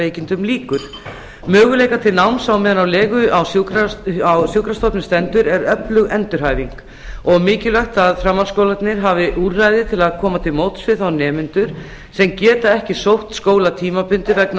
veikindum lýkur möguleikar til náms meðan á legu á sjúkrastofnun stendur er öflug endurhæfing og mikilvægt að framhaldsskólarnir hafi úrræði til að koma til móts við þá nemendur sem geta ekki sótt skóla tímabundið vegna